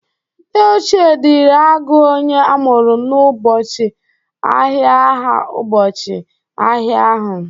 Ndị ochie dịri agụ onye amụru n'ụbọchị ahịa aha ụbọchị ahia ahụ.